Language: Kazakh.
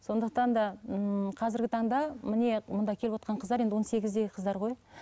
сондықтан да ммм қазіргі таңда міне мында келівотқан қыздар енді он сегіздегі қыздар ғой